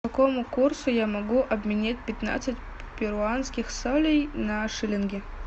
по какому курсу я могу обменять пятнадцать перуанских солей на шиллинги